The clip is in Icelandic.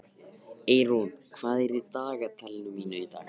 Eirún, hvað er á dagatalinu mínu í dag?